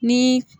Ni